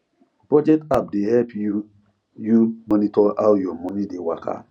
budget app dey help you you monitor how your money dey waka